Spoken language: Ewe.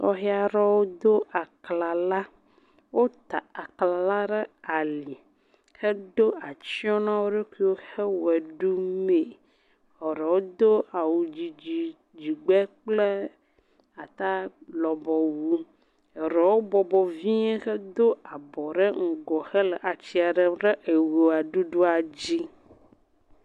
Sɔhe aɖewo do aklala, wota aklala ɖe ali hedo atsyɔ na wo ɖokuiwo hele ʋe ɖumee, eɖewo do awudidi dzigbe kple atalɔbɔwu, eɖewo bɔbɔ vie hedo abɔ ɖe ŋgɔ hele atsyia ɖem ɖe eʋeɖuɖua dzi.